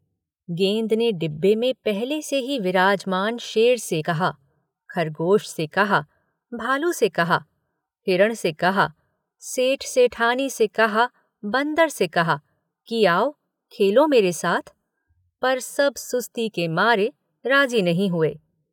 गेंद ने डिब्बे में पहले से ही विराजमान शेर से कहा, खरगोश से कहा, भालू से कहा हिरण से कहा, सेठ-सेठानी से कहा, बंदर से कहा कि आओ, खेलो मेरे साथ, पर सब सुस्ती के मारे राज़ी नहीं हुए।